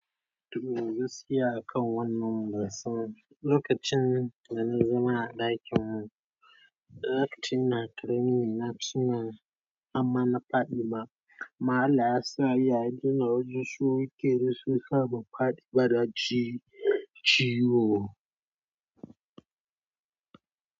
Toh, gaskiya a kan wannan bansan lokacin da na zama a ɗakinmu, lokacin ina criminal na tuna amma na fadi ma. Amma Allah ya sa ya daina wajen su riƙe ni shiyasa ban faɗi ba na ji ciwo.